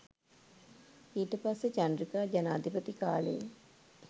ඊට පස්සේ චන්ද්‍රිකා ජනාධිපති කාලෙ